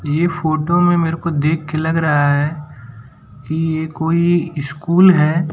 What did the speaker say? ये फोटो में मेरे को देखके लग रहा है कि ये कोई स्कूल है।